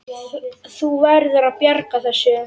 Þú verður að bjarga þessu!